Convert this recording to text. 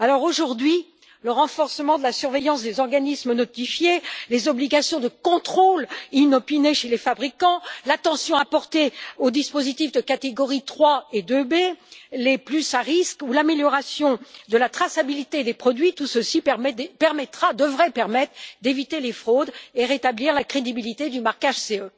Aujourd'hui, le renforcement de la surveillance des organismes notifiés, les obligations de contrôle inopiné chez les fabricants, l'attention apportée aux dispositifs de catégorie 3 et 2B, les plus à risque, ou l'amélioration de la traçabilité des produits, tout cela devrait permettre d'éviter les fraudes et de rétablir la crédibilité du marquage CE.